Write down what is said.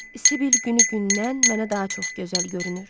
Sibyl günü gündən mənə daha çox gözəl görünür.